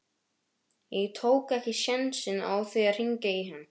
Ég tók ekki sénsinn á því að hringja í hana.